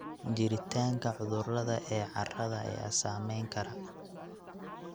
Jiritaanka cudurrada ee carrada ayaa saameyn kara.